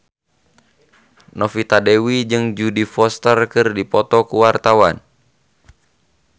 Novita Dewi jeung Jodie Foster keur dipoto ku wartawan